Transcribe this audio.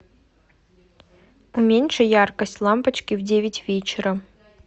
уменьши яркость лампочки в девять вечера